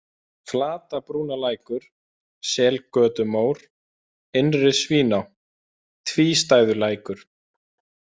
Flatabrúnalækur, Selgötumór, Innri-Svíná, Tvístæðulækur